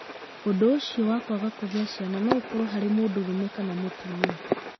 Ũndũ ũcio wa kwaga kũgĩa ciana no ũkorũo harĩ mũndũrũme kana mũtumia.